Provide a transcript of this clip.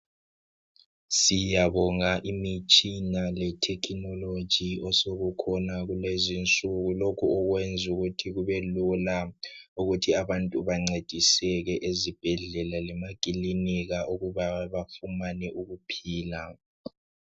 Siyabonga imitshina letekinoloji ,osokukhona kulezinsuku. Lokhukwenzukuthi kube lula ukuthi abantu bancediseke ezibhedlela lemakilinika ukuba bafumane ukuphila.